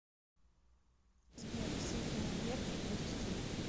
сбер северные верфи индустрия